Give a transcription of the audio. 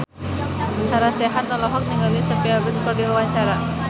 Sarah Sechan olohok ningali Sophia Bush keur diwawancara